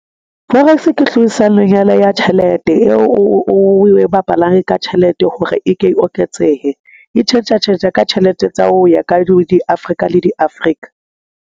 Forex ke hlodisano-nyana ya tjhelete eo o e bapalang ka tjhelete hore e ke e oketsehe. E tjhentjha tjhentjha ka tjhelete tsa ho ya ka di-Afrika le di-Africa.